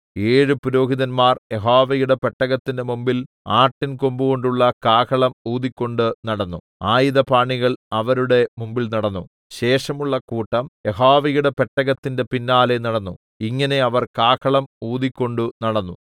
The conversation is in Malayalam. ഏഴു പുരോഹിതന്മാർ യഹോവയുടെ പെട്ടകത്തിന്റെ മുമ്പിൽ ആട്ടിൻ കൊമ്പുകൊണ്ടുള്ള കാഹളം ഊതിക്കൊണ്ട് നടന്നു ആയുധപാണികൾ അവരുടെ മുമ്പിൽ നടന്നു ശേഷമുള്ള കൂട്ടം യഹോവയുടെ പെട്ടകത്തിന്റെ പിന്നാലെ നടന്നു ഇങ്ങനെ അവർ കാഹളം ഊതിക്കൊണ്ട് നടന്നു